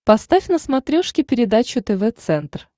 поставь на смотрешке передачу тв центр